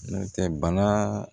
N'o tɛ bana